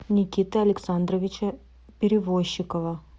никиты александровича перевощикова